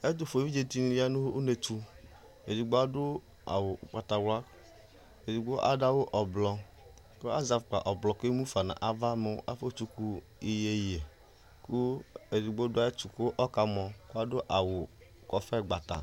Ɛtufuɛ vidze dini ya nʋ unetʋ Edigbo adʋ awʋ ʋgbatawla, edigbo adʋ awʋ ɔblɔ, kʋ azɛ afukpa ɔblɔ k'emu fa n'aʋa mʋ afɔ tsuku iyeye kʋ edigbo dʋ ayɛtu k'ɔkamɔ, kʋ adʋ awʋ kɔƒe gbata